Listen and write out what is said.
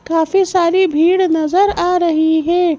काफी सारी भीड़ नज़र आ रही है।